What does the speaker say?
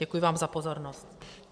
Děkuji vám za pozornost.